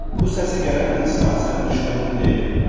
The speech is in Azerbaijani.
Bu səsi gələn insan sənin düşmənin deyil.